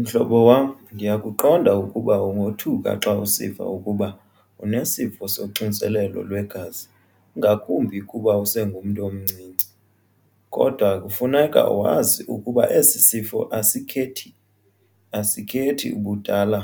Mhlobo wam ndiyakuqonda ukuba ungothuka xa usiva ukuba unesifo soxinzelelo lwegazi ngakumbi kuba usengumntu omncinci. Kodwa kufuneka wazi ukuba esi sifo asikhethi ubudala.